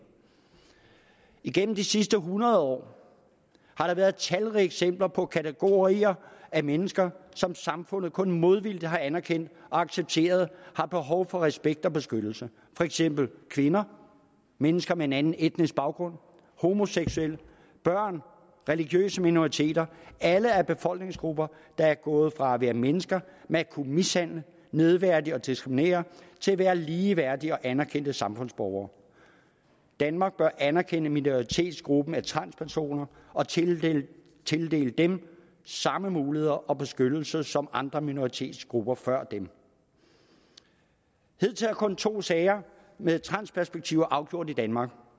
igennem de sidste hundrede år har der været talrige eksempler på at kategorier af mennesker som samfundet kun modvilligt har anerkendt og accepteret har behov for respekt og beskyttelse for eksempel kvinder mennesker med en anden etnisk baggrund homoseksuelle børn og religiøse minoriteter alle er befolkningsgrupper der er gået fra at være mennesker man kunne mishandle nedværdige og diskriminere til at være ligeværdige og anerkendte samfundsborgere danmark bør anerkende minoritetsgruppen af transpersoner og tildele tildele dem samme muligheder og beskyttelse som andre minoritetsgrupper før dem hidtil har kun to sager med transperspektiver været afgjort i danmark